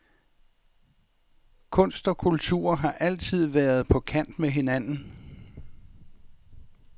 Kunst og kultur har altid været på kant med hinanden.